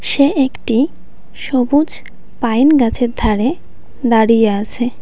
সে একটি সবুজ পাইন গাছের ধরে দাঁড়িয়ে আছে।